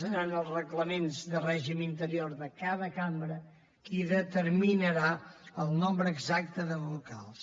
seran els reglaments de règim interior de cada cambra els qui determinaran el nombre exacte de vocals